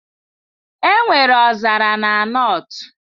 Enwere ọzara na North